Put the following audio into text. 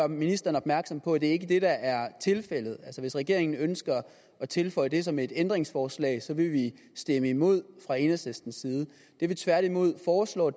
ministeren opmærksom på at det ikke er det der er tilfældet altså hvis regeringen ønsker at tilføje det som et ændringsforslag så vil vi stemme imod fra enhedslistens side det vi tværtimod foreslår